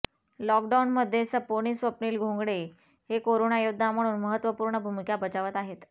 लॉकडाऊनमध्ये सपोनि स्वप्निल घोंगडे हे करोना योद्धा म्हणून महत्त्वपूर्ण भूमिका बजावत आहेत